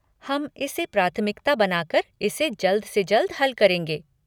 हम इसे प्राथमिकता बनाकर इसे जल्द से जल्द हल करेंगे।